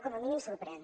com a mínim sorprèn